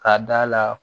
K'a d'a la